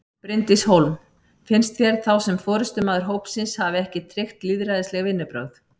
Bryndís Hólm: Finnst þér þá sem forystumaður hópsins hafi ekki tryggt lýðræðisleg vinnubrögð?